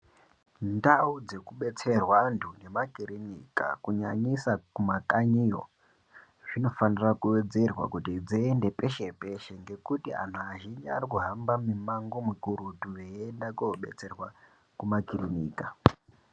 Ndau dzekubetserwa antu nemakirinika kunyanyisa kumakanyiyo zvinofanira kuwedzerwa kuti dzeiende peshe-peshe ngekuti anhu azhinji arikuhamba mimango mikurutu veienda kobetserwa kumakirinika.